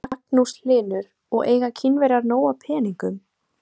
Magnús Hlynur: Og eiga Kínverjar nóg af peningum?